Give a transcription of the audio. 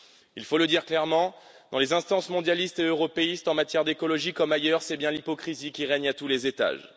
Il faut le dire clairement, dans les instances mondialistes et européistes, en matière d' écologie comme ailleurs, c'est bien l'hypocrisie qui règne à tous les étages.